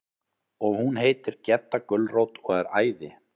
Og hún heitir Gedda gulrót og er æði.